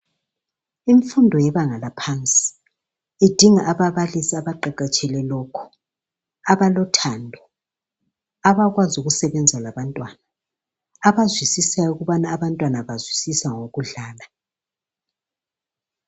Imfundo yebanga laphansi idinga ababalisi abaqeqetshele lokho abalothando abakwazi ukusebenza labantwana abazwisisayo ukubana abantwana bazwisisa ngokudlala.